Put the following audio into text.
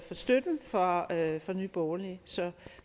støtten fra nye borgerlige så